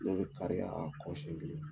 Ne bɛ kariya a kɔ senɲɛ kelen.